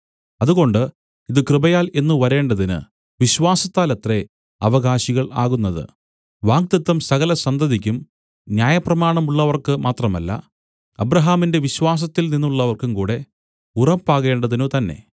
അതുകൊണ്ട് ഇതു കൃപയാൽ എന്നു വരേണ്ടതിന് വിശ്വാസത്താലത്രേ അവകാശികൾ ആകുന്നത് വാഗ്ദത്തം സകലസന്തതിക്കും ന്യായപ്രമാണമുള്ളവർക്ക് മാത്രമല്ല അബ്രാഹാമിന്റെ വിശ്വാസത്തിൽ നിന്നുള്ളവർക്കും കൂടെ ഉറപ്പാകേണ്ടതിനുതന്നെ